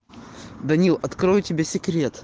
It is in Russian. даниил открою тебе секрет